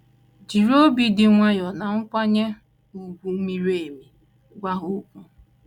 Jiri “ obi dị nwayọọ na nkwanye ùgwù miri emi ” gwa ha okwu.